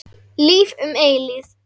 Líf um eilífð.